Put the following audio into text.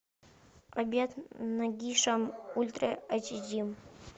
обед нагишом ультра эйч ди